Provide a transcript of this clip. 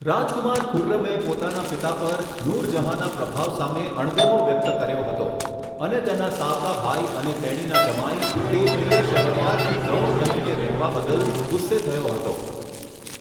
રાજકુમાર ખુર્રમે પોતાના પિતા પર નૂર જહાંના પ્રભાવ સામે અણગમો વ્યક્ત કર્યો હતો અને તેના સાવકા ભાઈ અને તેણીના જમાઈ, તે પ્રિય શહરયારથી ગૌણ બનીને રહેવા બદલ ગુસ્સે થયો હતો.